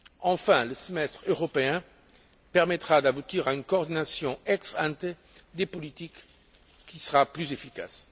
Enfin, le semestre européen permettra d'aboutir à une coordination ex ante des politiques qui sera plus efficace.